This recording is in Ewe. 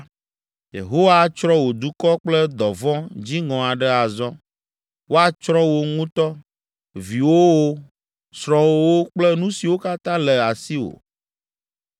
Yehowa atsrɔ̃ wò dukɔ kple dɔvɔ̃ dziŋɔ aɖe azɔ. Woatsrɔ̃ wò ŋutɔ, viwòwo, srɔ̃wòwo kple nu siwo katã le asiwò.